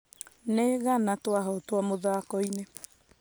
"Nĩ gana twahotwo mũthako inĩ.